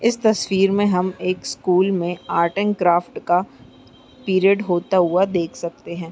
इस तस्वीर में हम एक स्कूल में आर्ट एंड क्राफ्ट का पीरियड होता हुआ देख सकते हैं।